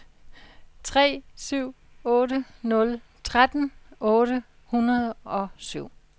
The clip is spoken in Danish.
tre syv otte nul tretten otte hundrede og syv